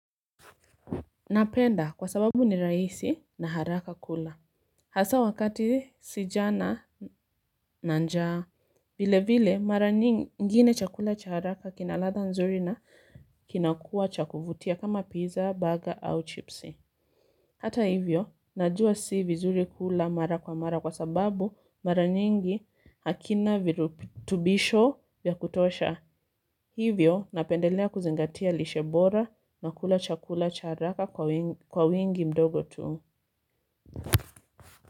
Napenda kwa sababu ni rahisi na haraka kula. Hasa wakati si jana na njaa. Vile vile mara nyingine chakula cha haraka kina ladha nzuri na kinakuwa cha kuvutia kama pizza, burger au chipsi. Hata hivyo najua si vizuri kula mara kwa mara kwa sababu mara nyingi hakina virutubisho vya kutosha. Hivyo, napendelea kuzingatia lishe bora na kula chakula cha haraka kwa wingi mdogo tu.